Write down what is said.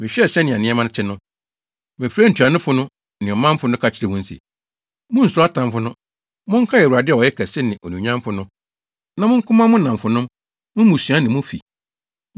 Mehwɛɛ sɛnea nneɛma te no, mefrɛɛ ntuanofo no ne ɔmanfo no ka kyerɛɛ wɔn se, “Munnsuro atamfo no! Monkae Awurade a ɔyɛ ɔkɛse ne onuonyamfo no na monko mma mo nnamfonom, mo mmusua ne mo afi.”